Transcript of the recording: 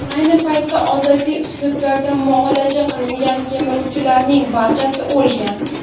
Ayni paytda odatiy uslublarda muolaja qilingan kemiruvchilarning barchasi o‘lgan.